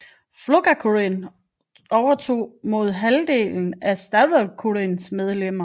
Fólkaflokkurin overtog op mod halvdelen af Sjálvstýrisflokkurins medlemmer